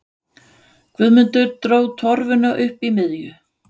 Guðmundur dró torfuna upp í miðju.